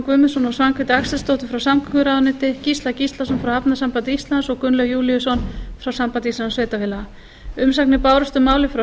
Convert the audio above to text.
og svanhvíti axelsdóttur frá samgönguráðuneyti gísla gíslason frá hafnasambandi íslands og gunnlaug júlíusson frá sambandi íslenskra sveitarfélaga umsagnir bárust um málið frá